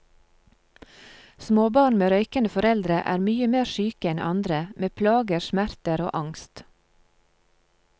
Småbarn med røykende foreldre er mye mer syke enn andre, med plager, smerter og angst.